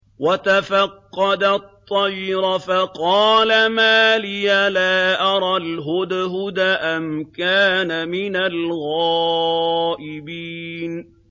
وَتَفَقَّدَ الطَّيْرَ فَقَالَ مَا لِيَ لَا أَرَى الْهُدْهُدَ أَمْ كَانَ مِنَ الْغَائِبِينَ